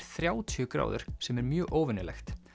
þrjátíu gráður sem er mjög óvenjulegt